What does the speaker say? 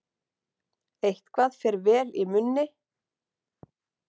Eitthvað fer vel í munni